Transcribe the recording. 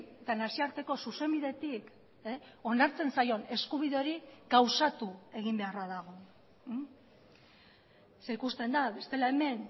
eta nazioarteko zuzenbidetik onartzen zaion eskubide hori gauzatu egin beharra dago ze ikusten da bestela hemen